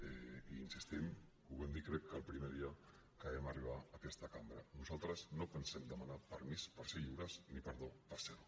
i hi insistim ho vam dir crec que el primer dia que vam arribar a aquesta cambra nosaltres no pensem demanar permís per ser lliures ni perdó per serho